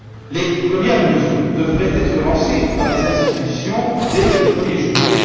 Les premières mesures devraient être lancées par les institutions dès le 1er juillet